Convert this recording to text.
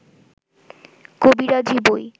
কবিরাজি বই